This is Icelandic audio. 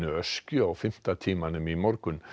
Öskju á fimmta tímanum í morgun